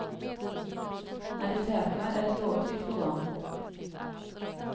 När de tätnar är ett lågtryck på gång.